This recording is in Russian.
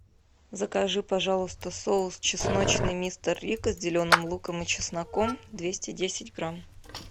закажи пожалуйста соус чесночный мистер рикко с зеленым луком и чесноком двести десять грамм